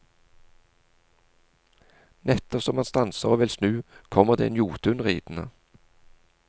Nettopp som han stanser og vil snu, kommer det en jotun ridende.